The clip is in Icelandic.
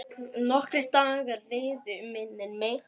Nokkrir dagar liðu, minnir mig.